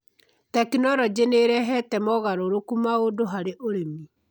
Tekinolonjĩ nĩ ĩrehete mogarũrũku maũndũ harĩ ũrĩmi.